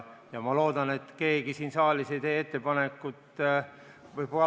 Ma loodan, et keegi siin saalis ei tee ettepanekut.